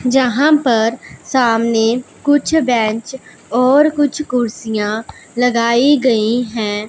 जहां पर सामने कुछ बेंच और कुछ कुर्सियां लगाई गई है।